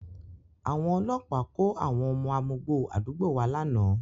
Àwọn ọlọ́pàá kó àwọn ọmọ amugbó àdúgbò wa lánàá